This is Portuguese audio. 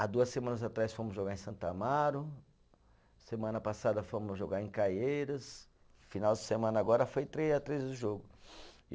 Há duas semanas atrás fomos jogar em Santo Amaro, semana passada fomos jogar em Caieiras, final de semana agora foi três a três o jogo.